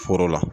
Foro la